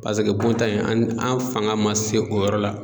Paseke bon ta in an fanga ma se o yɔrɔ la.